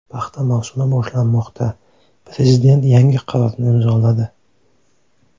Paxta mavsumi boshlanmoqda: Prezident yangi qarorni imzoladi.